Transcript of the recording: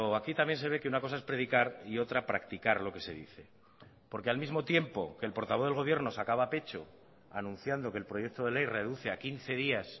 aquí también se ve que una cosa es predicar y otra practicar lo que se dice porque al mismo tiempo que el portavoz del gobierno sacaba pecho anunciando que el proyecto de ley reduce a quince días